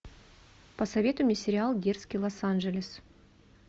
посоветуй мне сериал дерзкий лос анджелес